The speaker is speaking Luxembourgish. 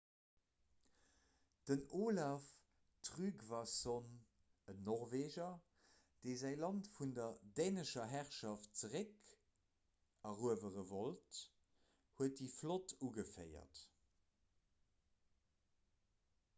den olaf trygvasson en norweger dee säi land vun der dänescher herrschaft zeréckeruewere wollt huet déi flott ugeféiert